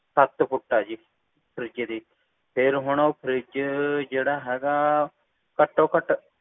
ਸੱਤ ਫੁੱਟ ਆ ਜੀ fridge ਦੀ ਫੇਰ ਉਹ fridge ਜਿਹੜਾ ਹੈਗਾ